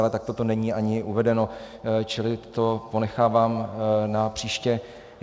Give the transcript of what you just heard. Ale takto to není ani uvedeno, čili to ponechávám na příště.